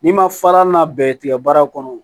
N'i ma fara n'a bɛɛ ye tigɛ baara kɔnɔ